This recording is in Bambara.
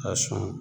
A sɔn